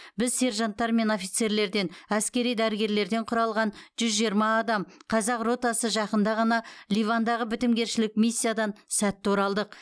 біз сержанттар мен офицерлерден әскери дәрігерлерден құралған жүз жиырма адам қазақ ротасы жақында ғана ливандағы бітімгершілік миссиядан сәтті оралдық